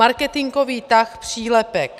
Marketingový tah - přílepek.